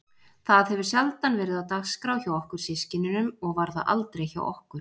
Það hefur sjaldan verið á dagskrá hjá okkur systkinunum og var það aldrei hjá okkur